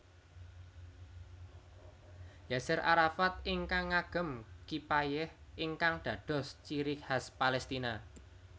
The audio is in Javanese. Yaser Arafat ingkang ngagem Kipayeh ingkang dados ciri khas Palestina